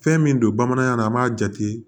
Fɛn min don bamanankan na an b'a jate